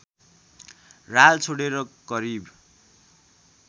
राल छोडेर करिब